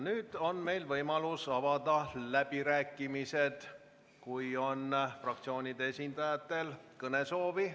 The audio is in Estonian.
Nüüd on meil võimalus avada läbirääkimised, kui fraktsioonide esindajatel on kõnesoovi.